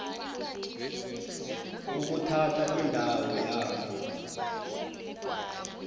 ukuthatha indawo yayo